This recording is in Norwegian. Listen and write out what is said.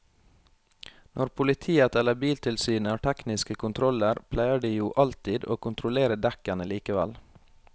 Når politiet eller biltilsynet har tekniske kontroller pleier de jo alltid å kontrollere dekkene likevel.